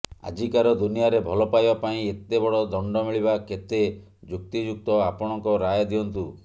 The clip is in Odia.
ଆଜିକାର ଦୁନିଆରେ ଭଲ ପାଇବା ପାଇଁ ଏତେ ବଡ ଦଣ୍ଡ ମିଳିବା କେତେ ଯୁକ୍ତିଯୁକ୍ତ ଆପଣଙ୍କ ରାୟ ଦିଅନ୍ତୁ